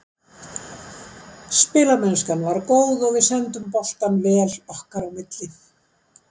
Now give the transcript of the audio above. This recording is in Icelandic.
Spilamennskan var góð og við sendum boltann vel okkar á milli.